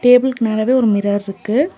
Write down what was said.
டேபிள்க்கு மேலவே ஒரு மிரர்ருக்கு .